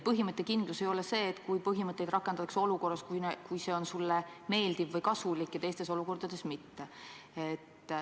Põhimõttekindlus ei ole see, kui põhimõtteid rakendatakse olukorras, kus see on sulle meeldiv või kasulik, ja teistes olukordades mitte.